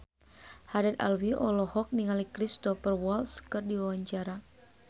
Haddad Alwi olohok ningali Cristhoper Waltz keur diwawancara